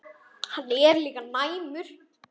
Hann er líka næmur.